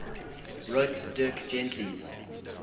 wrote dirk gently's